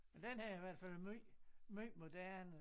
Den her er i hvert fald måj måj moderne